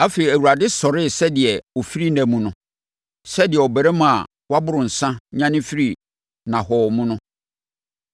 Afei Awurade sɔree sɛdeɛ ɔfiri nna mu no, sɛdeɛ ɔbarima a waboro nsã nyane firi nnahɔɔ mu no.